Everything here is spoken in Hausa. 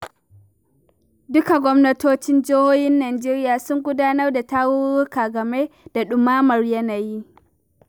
Duka gwamnatocin jihohin Najeriya sun gudanar da tarurruka game da ɗumamar yanayi.